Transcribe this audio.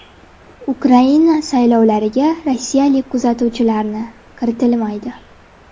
Ukraina saylovlariga rossiyalik kuzatuvchilarni kiritilmaydi.